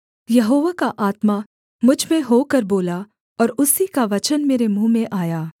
यहोवा का आत्मा मुझ में होकर बोला और उसी का वचन मेरे मुँह में आया